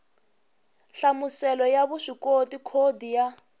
nhlamuselo ya vuswikoti khodi ya